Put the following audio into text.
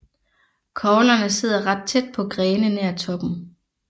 Koglerne sidder ret tæt på grene nær toppen